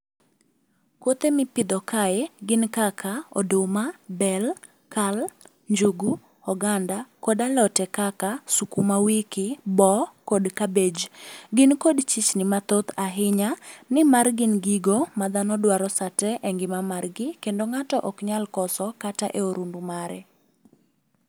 Kothe mipidho kae, gin kaka oduma, bel, kal, njugu, oganda, kod alote kaka sukumawiki, boo, kod cabbage. Gin kod chichni mathoth ahinya, nimar gin gigo ma dhano dwaro sate e ngima margi kendo ng'ato ok nyal koso kata e orundu mare.